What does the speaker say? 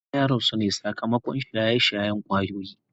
Isah ya rasu ne sakamakon shaye-shayen kwayoyi.